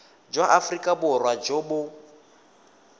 jwa aforika borwa jo bo